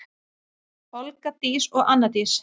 Olga Dís og Anna Dís.